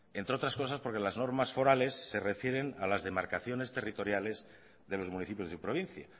entre otras cosas porque las normas forales se refieren a las demarcaciones territoriales de los municipios de provincia